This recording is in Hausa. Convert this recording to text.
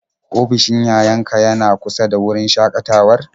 Ofishin yayan ka yana kusa da wurin shakatawar?